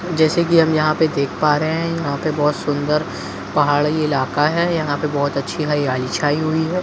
जैसे कि हम यहां पर देख पा रहे हैं यहां पे बहुत सुंदर पहाड़ी इलाका है यहां पर बहुत अच्छी हरियाली छाई हुई है।